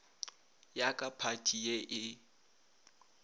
ya ka phathi ye e